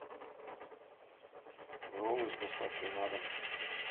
роллы с доставкой на дом